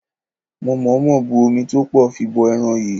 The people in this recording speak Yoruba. Mo mọ̀ọ́mọ̀ bu omi tó pọ̀ fi bọ ẹran yìí.